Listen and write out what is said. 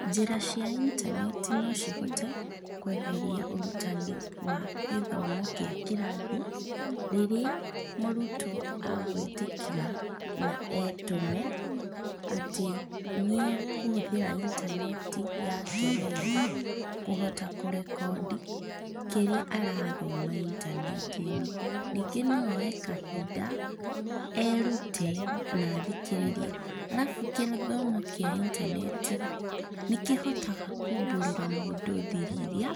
Njĩra cia intaneti no cihote kweheria ũrutani wa gĩthomo kĩa kĩrathi rĩrĩa mũrutwo agũĩtĩkĩra na etũme atĩ nĩ ekũhũthĩra intaneti yake wega kũhota kũrekondi ĩrĩa arathoma intaneti-inĩ. Ningĩ no oe kahinda erute na athikĩrĩrie, arabu kĩthomo kĩa intaneti nĩ kĩhotaga kumbũrĩra mũndũ thiri iria